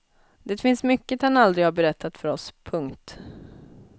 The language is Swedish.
Det finns mycket han aldrig har berättat för oss. punkt